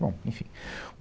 Bom, enfim.